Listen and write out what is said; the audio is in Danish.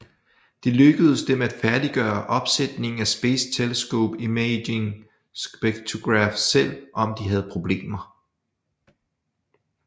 Det lykkedes dem at færdiggøre opsætningen af Space Telescope Imaging Spectrograph selv om de havde problemer